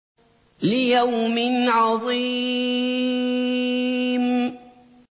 لِيَوْمٍ عَظِيمٍ